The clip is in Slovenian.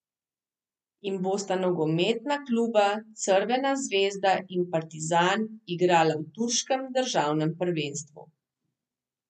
In bosta nogometna kluba Crvena zvezda in Partizan igrala v turškem državnem prvenstvu.